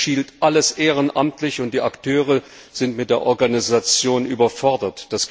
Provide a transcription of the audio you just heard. Zurzeit geschieht alles ehrenamtlich, und die Akteure sind mit der Organisation überfordert.